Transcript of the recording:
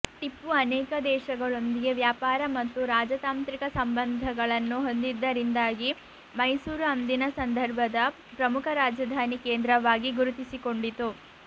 ಟಿಪ್ಪು ಅನೇಕ ದೇಶಗಳೊಂದಿಗೆ ವ್ಯಾಪಾರ ಮತ್ತು ರಾಜತಾಂತ್ರಿಕ ಸಂಬಂಧಗಳನ್ನು ಹೊಂದಿದ್ದರಿಂದಾಗಿ ಮೈಸೂರು ಅಂದಿನ ಸಂದರ್ಭದ ಪ್ರಮುಖ ರಾಜಧಾನಿ ಕೇಂದ್ರವಾಗಿ ಗುರುತಿಸಿಕೊಂಡಿತು